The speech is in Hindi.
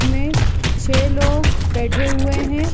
में छे लोग बैठे हुए हैं।